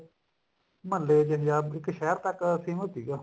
ਮਹੱਲੇ ਚ ਜਾਂ ਇੱਕ ਸ਼ਹਿਰ ਤੱਕ famous ਸੀਗਾ